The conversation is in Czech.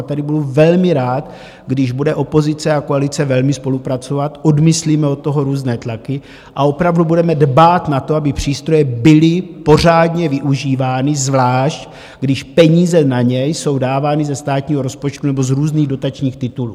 A tady budu velmi rád, když bude opozice a koalice velmi spolupracovat, odmyslíme od toho různé tlaky a opravdu budeme dbát na to, aby přístroje byly pořádně využívány, zvlášť když peníze na ně jsou dávány ze státního rozpočtu nebo z různých dotačních titulů.